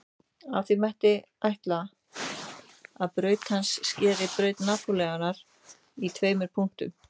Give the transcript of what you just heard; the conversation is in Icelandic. Af því mætti ætla að braut hans skeri braut Neptúnusar í tveimur punktum.